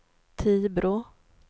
Tibro